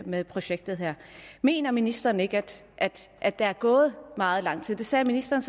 med projektet her mener ministeren ikke at der er gået meget lang tid det sagde ministeren